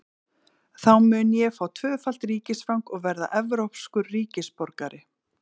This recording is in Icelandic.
Þá mun ég fá tvöfalt ríkisfang og verða evrópskur ríkisborgari.